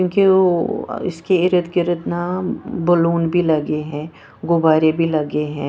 क्योंकि वो इसके इर्द गिर्द ना बैलून भी लगे हैं गुब्बारे भी लगे हैं।